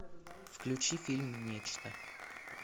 включи фильм нечто